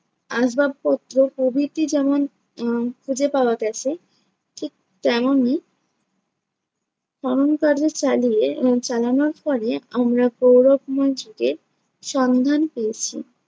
আসবাবপত্র প্রভৃতি যেমন আহ খুঁজে পাওয়া গেছে ঠিক তেমনই খনন কার্য চালিয়ে আহ চালানোর ফলে আমরা গৌরবময় যুগের সন্ধান পেয়েছি।